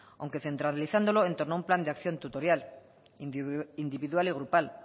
aunque centralizándolo en torno a un plan de acción tutorial individual y grupal